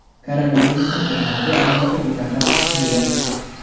Koronavirusning eng xavfli alomati bu nafas qisishidir.